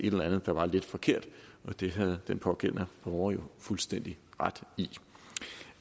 et eller andet der var lidt forkert det havde den pågældende borger jo fuldstændig ret i